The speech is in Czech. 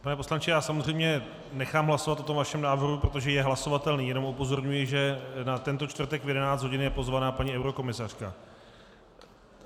Pane poslanče, já samozřejmě nechám hlasovat o tom vašem návrhu, protože je hlasovatelný, jenom upozorňuji, že na tento čtvrtek v 11 hodin je pozvaná paní eurokomisařka.